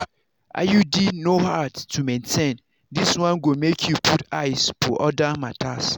iud no hard to maintain this one go make you put eyes for other matters.